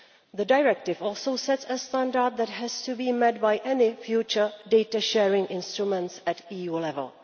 The directive also sets a standard that has to be met by any future data-sharing instruments at EU level.